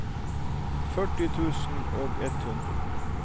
førti tusen og ett hundre